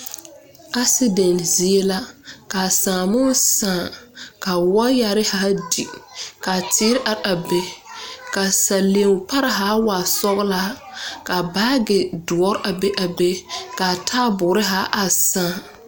Accident zeɛ la ka saamu saa ka waayare haa di ka teere arẽ arẽ bɛ da salen pare haa waa sɔglaa ka baagi duri a be a be ka a taabuuri haa a sãã.